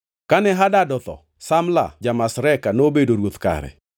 Kane Hadad otho, Samla ja-Masreka nobedo ruoth kare.